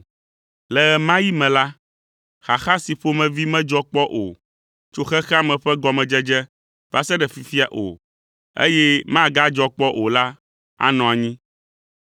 Le ɣe ma ɣi me la, xaxa si ƒomevi medzɔ kpɔ tso xexea me ƒe gɔmedzedze va se ɖe fifia o, eye magadzɔ kpɔ o la anɔ anyi.